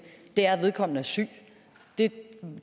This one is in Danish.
er at vedkommende er syg det